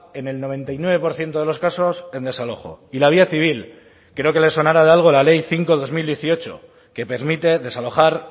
en el noventa y nueve por ciento de los casos en desalojo y la vía civil creo que le sonará de algo la ley cinco barra dos mil dieciocho que permite desalojar